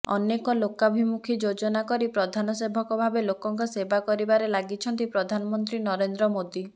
ଅନେକ ଲୋକାଭିମୁଖି ଯୋଜନା କରି ପ୍ରଧାନ ସେବକ ଭାବେ ଲୋକଙ୍କ ସେବା କରିବାରେ ଲାଗିଛନ୍ତି ପ୍ରଧାନମନ୍ତ୍ରୀ ନରେନ୍ଦ୍ର ମୋଦି